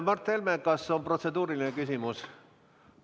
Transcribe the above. Mart Helme, kas on protseduuriline küsimus?